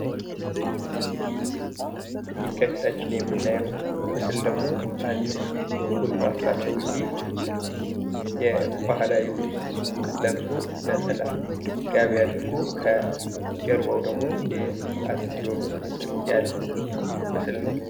ይህ ከፊታችን የምናየው ምስል ደግሞ አንድ ጎልማሳ ሰውዬ የባህላዊ ልብስ ለብሶ፣ ነጠላ ጋቢ አድርጎ ከጀርባው ደግሞ የአፄ ቴወድሮስ ምስል ያለው ምስል ነው።